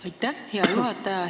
Aitäh, hea juhataja!